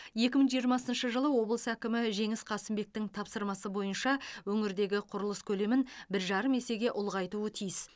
екі мың жиырмасыншы жылы облыс әкімі жеңіс қасымбектің тапсырмасы бойынша өңірдегі құрылыс көлемін бір жарым есеге ұлғайтуы тиіс